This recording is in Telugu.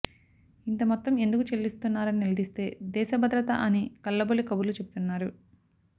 ఇంతమొత్తం ఎందుకు చెల్లిస్తున్నారని నిలదీస్తే దేశభద్రత అని కల్లబొల్లి కబుర్లు చెబుతున్నారు